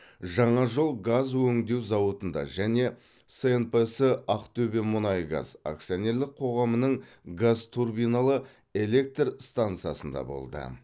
жаңажол газ өңдеу зауытында және снпс ақтөбемұнайгаз акционерлік қооғамының газтурбиналы электр стансасында болды